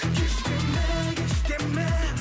кеш деме кеш деме